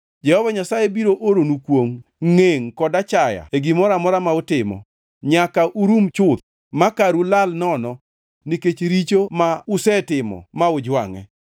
Jehova Nyasaye biro oronu kwongʼ, ngʼengʼ kod achaya e gimoro amora ma utimo, nyaka urum chuth makaru lal nono nikech richo ma usetimo ma ujwangʼe.